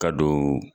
Ka don